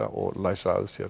og læsa að sér